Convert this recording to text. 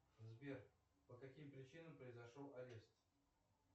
сбер по каким причинам произошел арест